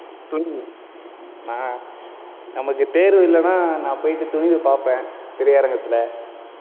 அஹ் நமக்கு தேர்வு இல்லைன்னா, நான் போயிட்டு துணிவு பார்ப்பேன் திரையரங்கத்துல,